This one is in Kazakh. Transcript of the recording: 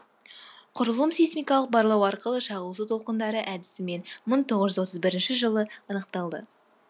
құрылым сейсмикалық барлау арқылы шағылысу толқындары әдісімен мың тоғыз жүз отыз бірінші жылы анықталды